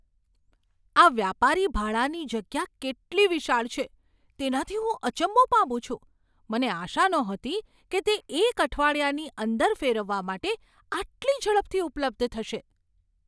આ વ્યાપારી ભાડાની જગ્યા કેટલી વિશાળ છે તેનાથી હું અચંબો પામું છું. મને આશા નહોતી કે તે એક અઠવાડિયાની અંદર ફેરવવા માટે આટલી ઝડપથી ઉપલબ્ધ થશે!